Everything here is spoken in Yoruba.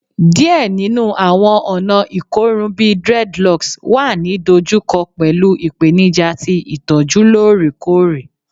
Diẹ ninu awọn ọna ikorun bi dreadlocks wa ni dojuko pẹlu ipenija ti itọju loorekoore